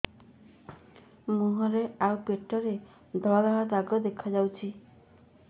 ମୁହଁରେ ଆଉ ପେଟରେ ଧଳା ଧଳା ଦାଗ ଦେଖାଯାଉଛି